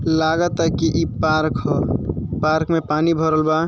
लागता कि ई पार्क ह पार्क में पानी भरल वा।